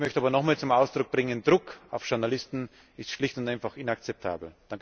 Ich möchte aber nochmals zum Ausdruck bringen, Druck auf Journalisten ist schlicht und einfach inakzeptabel!